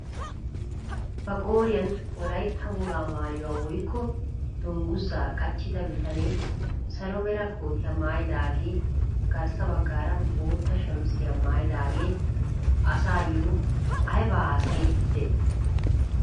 Ba qooriyaan wolaytta wogaa maayuwaa woykko dunguzaa qachchida bitanee salo mera kootiyaa maayidagee garssa baggaara bootta shamisiyaa maayidagee asayoo aybaa hasayiidi de'ii?